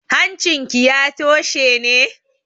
Hancinki ya toshe ne?